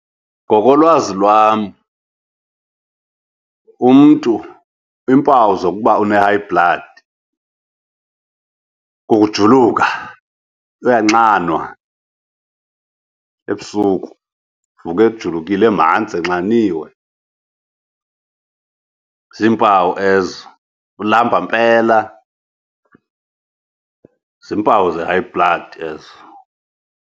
Ngokolwazi lwam umntu iimpawu zokuba une-high blood kukujuluka, uyanxanwa ebusuku, uvuka ejulukile, emanzi, enxaniwe, ziimpawu ezo. Ulamba mpela, ziimpawu ze-high blood ezo.